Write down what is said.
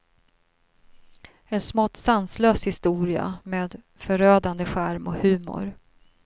En smått sanslös historia med förödande charm och humor.